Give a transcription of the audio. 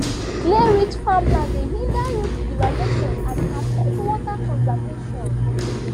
clayrich farmland dey hinder root development and affect water conservation